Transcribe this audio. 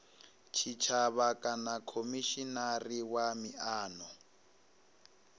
tshitshavha kana khomishinari wa miano